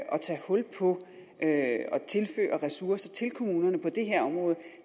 tage hul på at tilføre ressourcer til kommunerne på det her område